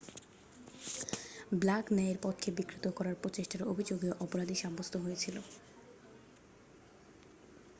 black ন্যায়ের পথকে বিকৃত করার প্রচেষ্ঠার অভিযোগেও অপরাধী সাব্যস্থ হয়েছিল